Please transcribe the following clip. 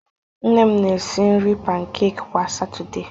Nne m na-esi nri pankek kwa Satọde.